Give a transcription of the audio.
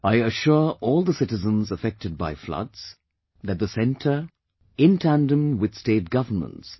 I assure all the citizens affected by floods, that the Centre in tandem with State govts